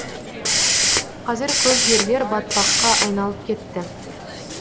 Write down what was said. қазір көп жерлер батпаққа айналып кетті